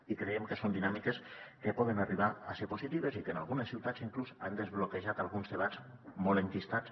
i creiem que són dinàmiques que poden arribar a ser positives i que en algunes ciutats inclús han desbloquejat alguns debats molt enquistats